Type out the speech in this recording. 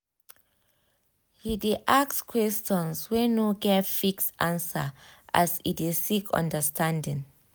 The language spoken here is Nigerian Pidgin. he ask questions wey no get fixed answer as e de seek understanding